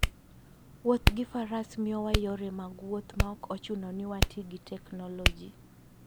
Wuodh faras miyowa yore mag wuoth maok ochuno ni wati gi teknoloji.